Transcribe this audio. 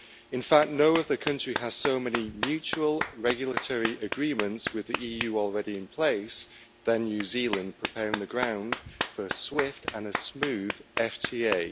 In fact, no other country has so many mutual regulatory agreements with the EU already in place than New Zealand, preparing the ground for a swift and a smooth FTA.